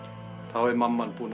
þá er mamman búin